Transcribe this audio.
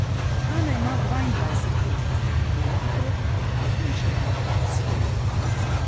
Hana ima dvaindvajset let, dvoje otrok, shujšala je, shirala.